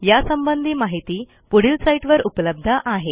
यासंबंधी माहिती पुढील साईटवर उपलब्ध आहे